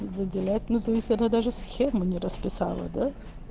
выделять ну то есть она даже схему не расписала да